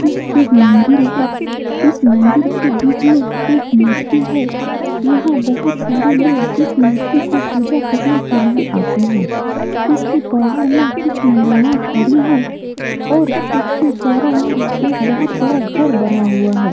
यह एक मंदिर है इस मंदिर के बीच में एक मूर्ति है यहाँ बहुत सारे लोग इस मूर्ति कों पूजा करने के लिए आते है इसके बाहर में कुछ महिलाएं खड़ी है और इसके चारो ओर बहुत बड़ा घर बना हुआ है।